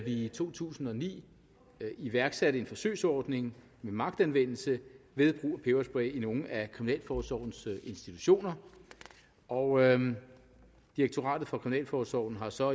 i to tusind og ni iværksatte en forsøgsordning med magtanvendelse ved brug af peberspray i nogle af kriminalforsorgens institutioner og direktoratet for kriminalforsorgen har så